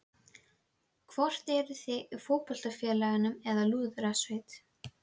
Hvort eruð þið í fótboltafélagi eða lúðrasveit?